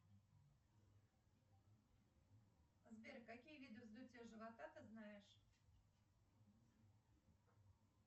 сбер какие виды вздутия живота ты знаешь